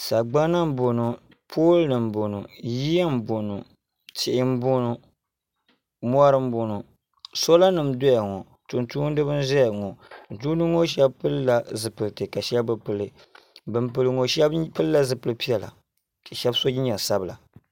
sagbana n bɔŋɔ pool nim n bɔŋɔ yiya n bɔŋɔ tihi n bɔŋɔ mɔri n bɔŋɔ soola nim n doya ŋɔ tum tumtumdiba n ʒɛya ŋɔ tumtumdiba ŋɔ shab pilila zipiliti ka shab bi pili tumtumdiba ŋɔ shab pilila zipiliti ka shab bi pili ka shab so jinjɛm sabila